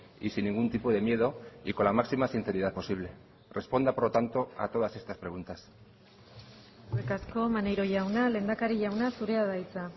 y sin ningún tipo de miedo y con la máxima sinceridad posible responda por lo tanto a todas estas preguntas eskerrik asko maneiro jauna lehendakari jauna zurea da hitza